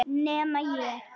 Nema ég.